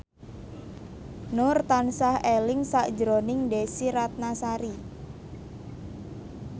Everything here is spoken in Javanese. Nur tansah eling sakjroning Desy Ratnasari